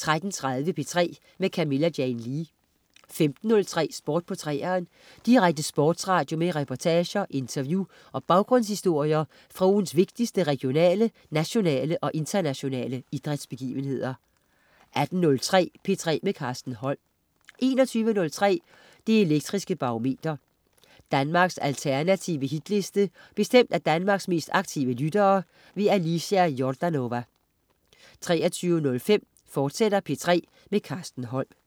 13.30 P3 med Camilla Jane Lea 15.03 Sport på 3'eren. Direkte sportsradio med reportager, interview og baggrundshistorier fra ugens vigtigste regionale, nationale og internationale idrætsbegivenheder 18.03 P3 med Carsten Holm 21.03 Det Elektriske Barometer. Danmarks alternative Hitliste bestemt af Danmarks mest aktive lyttere. Alicia Jordanova 23.05 P3 med Carsten Holm, fortsat